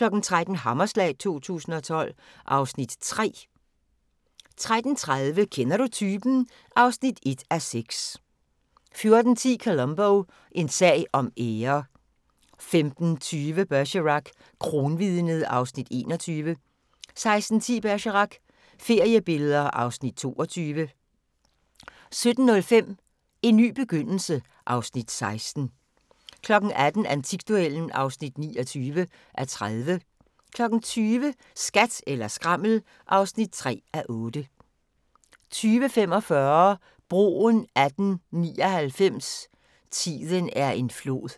13:00: Hammerslag 2012 (Afs. 3) 13:30: Kender du typen? (1:6) 14:10: Columbo: En sag om ære 15:20: Bergerac: Kronvidnet (Afs. 21) 16:10: Bergerac: Feriebilleder (Afs. 22) 17:05: En ny begyndelse (Afs. 16) 18:00: Antikduellen (29:30) 20:00: Skat eller skrammel (3:8) 20:45: Broen 1899 – tiden er en flod